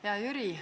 Hea Jüri!